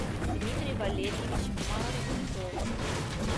дмитрий валерьевич марковский